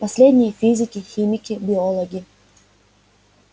последние физики химики биологи